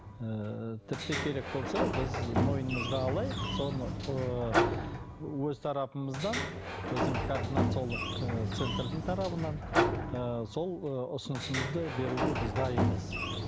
ыыы тіпті керек болса біз мойнымызға алайық соны ыыы өз тарапымыздан біздің кардинациолог ы центрдің тарапынан сол ыыы ұсынысымызды біз беруге дайынбыз